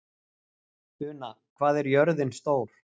Una, hvað er jörðin stór?